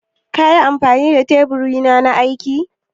Ƙa yi amfani da tebur na aiki?